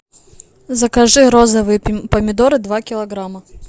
закажи розовые помидоры два килограмма